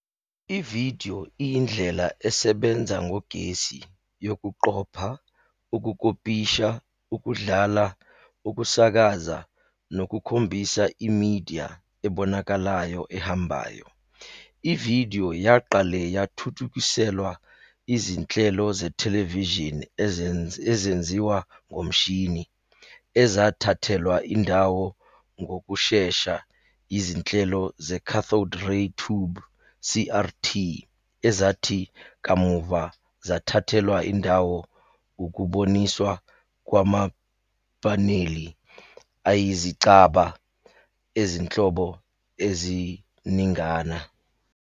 Ividiyo iyindlela esebenza ngogesi yokuqopha, ukukopisha, ukudlala, ukusakaza, nokukhombisa imidiya ebonakalayo ehambayo. Ividiyo yaqale yathuthukiselwa izinhlelo zethelevishini ezenziwa ngomshini, ezathathelwa indawo ngokushesha yizinhlelo ze- cathode ray tube, CRT, ezathi kamuva zathathelwa indawo ukuboniswa kwamapaneli ayizicaba ezinhlobo eziningana.